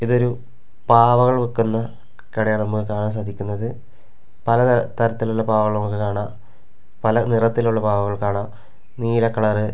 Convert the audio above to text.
ഇതൊരു പാവകൾ വിക്കുന്ന കടയാണ് നമ്മുക്ക് കാണാൻ സാധിക്കുന്നത് പല തര തരത്തിലുള്ള പാവകൾ നമ്മുക്ക് കാണാം പല നിറത്തിലുള്ള പാവകൾ കാണാം നീല കളറ് --